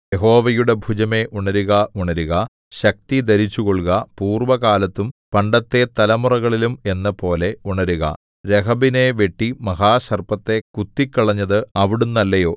യഹോവയുടെ ഭുജമേ ഉണരുക ഉണരുക ശക്തി ധരിച്ചുകൊള്ളുക പൂർവ്വകാലത്തും പണ്ടത്തെ തലമുറകളിലും എന്നപോലെ ഉണരുക രഹബിനെ വെട്ടി മഹാസർപ്പത്തെ കുത്തിക്കളഞ്ഞതു അവിടുന്നല്ലയോ